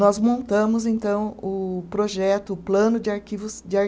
Nós montamos, então, o projeto, o plano de arquivos de ar